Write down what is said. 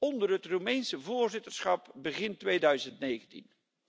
onder het Roemeense voorzitterschap begin 2019.